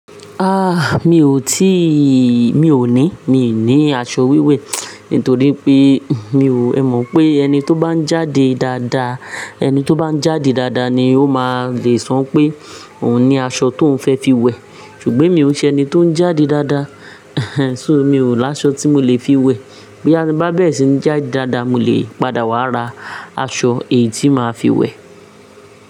Ah! Mi ò tí, mi ò ní, mi ní aṣọ wíwẹ̀ nítorí pé mi ò mọ̀ pé ẹni tó bá ń jáde dáadáa, ẹni tó bá ń jáde dáadáa ni ó máa le sọ pé òun ní aṣọ tó ń fẹ́ fi wẹ̀. Ṣùgbọ́n emi ò n ṣe ẹni tó ń jáde dáadáa, mi ò láṣọ tí mo lè fi wẹ̀. Boya tí mo bá bẹ́rẹ̀ sí ń jáde dáadáa, mo lè padà wá ra aṣọ èyí tí màá fi wẹ̀.